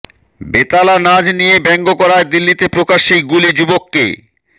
বেতালা নাচ নিয়ে ব্যঙ্গ করায় দিল্লিতে প্রকাশ্যেই গুলি যুবককে